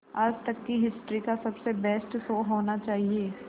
आज तक की हिस्ट्री का सबसे बेस्ट शो होना चाहिए